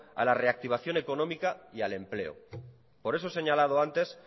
a la reactivación economía y al empleo por eso he señalado antes